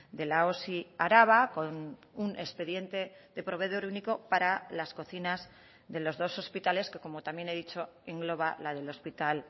de la osi araba con un expediente de proveedor único para las cocinas de los dos hospitales que como también he dicho engloba la del hospital